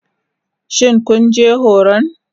Shin kun je horon?